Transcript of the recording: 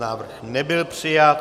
Návrh nebyl přijat.